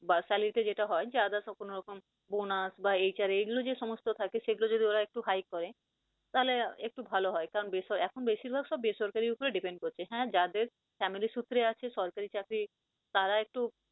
বা salary তে যেটা হয় যে others সম্পূর্ণ রকম bonus বা HR এগুলো যে সমস্ত থাকে সেগুলো যদি ওরা একটু high করে তাহলে একটু ভাল হয় কারন এখন বেশির ভাগ সব বেসরকারির উপর depend করছে। হ্যাঁ যাদের family সুত্রে আছে সরকারি চাকরি তারা একটু